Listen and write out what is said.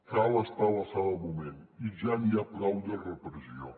cal estar a l’alçada del moment i ja n’hi ha prou de repressió